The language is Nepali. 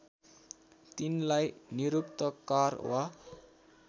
तिनलाई निरुक्तकार वा